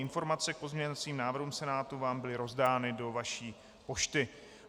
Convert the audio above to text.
Informace k pozměňovacím návrhům Senátu vám byly rozdány do vaší pošty.